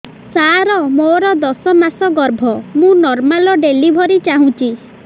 ସାର ମୋର ଦଶ ମାସ ଗର୍ଭ ମୁ ନର୍ମାଲ ଡେଲିଭରୀ ଚାହୁଁଛି